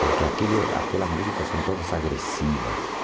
Porque aquilo aquelas músicas são todas agressivas.